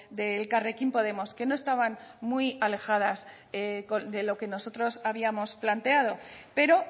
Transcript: de elkarrekin podemos que no estaban muy alejadas de lo que nosotros habíamos planteado pero